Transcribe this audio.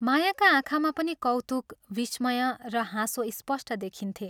मायाका आँखामा पनि कौतुक, विस्मय र हाँसो स्पष्ट देखिन्थे।